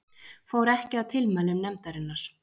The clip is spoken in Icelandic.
Fór ekki að tilmælum nefndarinnar